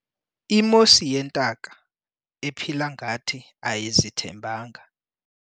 Imosi yintaka ephila ngathi ayizithembanga.